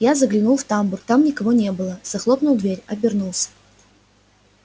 я заглянул в тамбур там никого не было захлопнул дверь обернулся